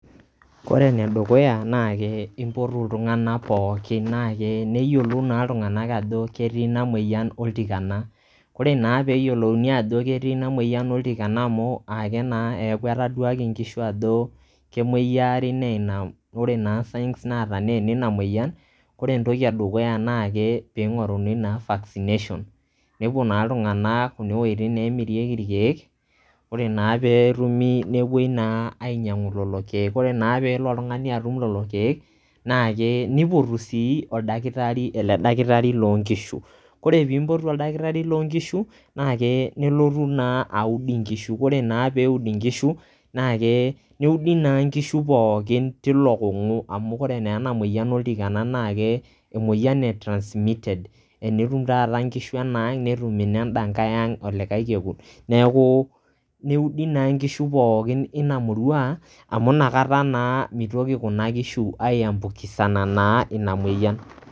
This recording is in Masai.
kore ene dukuya na ke impotu iltungank pookin na ke neyiolou naa iltunganak naa ajo ketii ina moyian oltikana .ore naa peyiolouni ajo ketii ina moyian oltikana amu ake naa eaku etaduaaki kemoyiaari na ke ore naa signs naata ina moyian naa ore entoki edukuya naa ke pingoruni naa vaccination nepuo naa iltunganak kune wuetin nemirieki irkieek ore naa petumi nepuoi naa ainyiangu lelo kiek. ore naa pelo oltungani atum lelo kiek na ke nipotu sii oldakitari ,ele dakitari loo nkishu .ore ppimpotu oldakitari loo nkishu na ke nelotu naa aud inkishu. ore naa peud inkishu na ke neudi naa nkishu pookin tilo kungu kore naa ena moyian oltikana na ke emoyian e transmitted tenetum taata nkishu enaang netum inenda nkae ang olikae kekun, neku neudi naa nkishu poookin ina murua amu inakata naa mitoki kuna kishu aiambukisana naa ina moyian